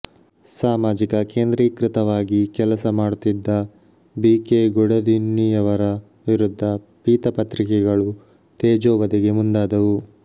ಸಾಮಾಜಿಕ ಕೇಂದ್ರೀಕೃತವಾಗಿ ಕೆಲಸ ಮಾಡುತ್ತಿದ್ದ ಬಿ ಕೆ ಗುಡದಿನ್ನಿಯವರ ವಿರುದ್ಧ ಪೀತಪತ್ರಿಕೆಗಳು ತೇಜೋವಧೆಗೆ ಮುಂದಾದವು